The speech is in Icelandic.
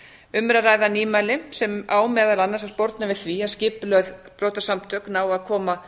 um er að ræða nýmæli sem á meðal annars að sporna við því að skipulögð brotasamtök nái að koma